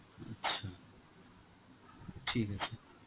আচ্ছা, ঠিক আছে.